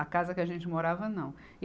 A casa que a gente morava, não. e